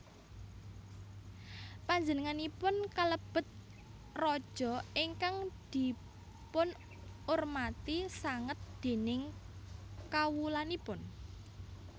Panjenenganipun kalebet raja ingkang dipunurmati sanget déning kawulanipun